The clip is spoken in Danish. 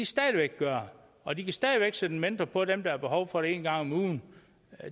stadig væk gøre og de kan stadig væk sætte en mentor på dem der har behov for det en gang om ugen